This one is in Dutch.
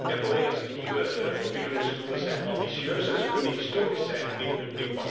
De nieuwe ontwikkelingsdoelen zijn ambitieus en ze kunnen historisch zijn in hun impact.